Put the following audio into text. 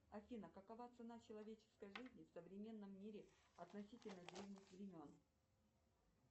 афина какова цена человеческой жизни в современном мире относительно древних времен